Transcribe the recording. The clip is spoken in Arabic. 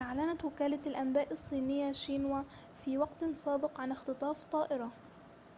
أعلنت وكالة الأنباء الصينية شينوا في وقت سابق عن اختطاف طائرة